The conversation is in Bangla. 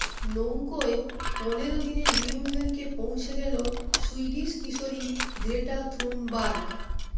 নৌকায় পনেরো দিনে নিউ ইয়র্কে পৌঁছে গেল সুইডিশ কিশোরী গ্রেটা থুনবার্গ